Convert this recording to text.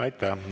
Aitäh!